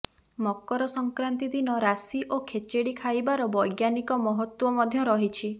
ମକର ସଂକ୍ରାନ୍ତି ଦିନ ରାଶି ଓ ଖେଚେଡ଼ି ଖାଇବାର ବୈଜ୍ଞାନିକ ମହତ୍ତ୍ୱ ମଧ୍ୟ ରହିଛି